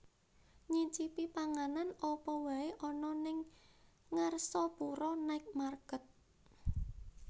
Nyicipi panganan apa wae ana ning Ngarsopuro Night Market